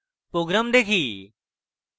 program দেখি